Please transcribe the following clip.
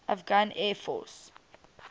afghan air force